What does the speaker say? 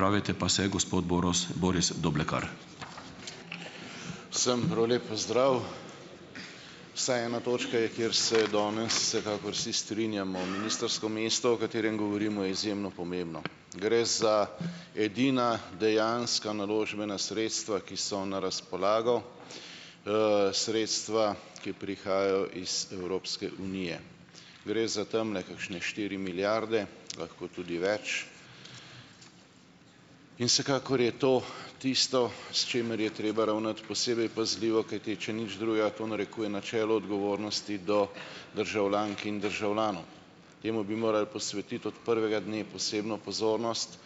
Vsem prav lep pozdrav. Vsaj ena točka je, kjer se danes vsekakor vsi strinjamo. Ministrsko mesto, o katerem govorimo, je izjemno pomembno. Gre za edina dejanska naložbena sredstva, ki so na razpolago, sredstva, ki prihajajo iz Evropske unije. Gre za tamle kakšne štiri milijarde, lahko tudi več, in vsekakor je to tisto, s čimer je treba ravnati posebej pazljivo, kajti če nič drugega, to narekuje načelo odgovornosti do državljank in državljanov. Temu bi moral posvetiti od prvega dne posebno pozornost.